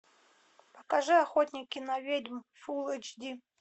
покажи охотники на ведьм фулл эйч ди